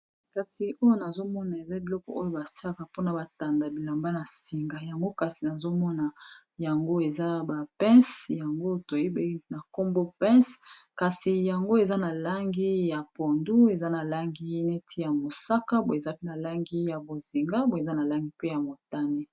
Kasi oyo nazomona eza biloko oyo batiaka mpona batanda bilamba na singa yango kasi nazomona yango eza bapince yango toyebi na nkombo pince kasi yango eza na langi ya pondu, eza na langi neti ya mosaka, boi ezapi na langi ya bozinga boi eza na langi pe ya motame.